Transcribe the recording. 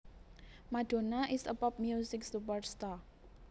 Madonna is a pop music superstar